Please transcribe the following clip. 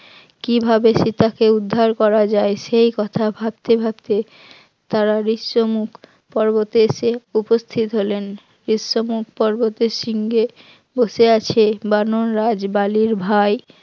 কিভাবে সীতা কে উদ্ধার করা যায় সেই কথা ভাবতে ভাবতে তারা বিশ্ব মুখ পর্বতে এসে উপস্থিত হলেন, বিশ্ব মুখ পর্বতের সীঙ্গে বসে আছে বানর রাজ বালির ভাই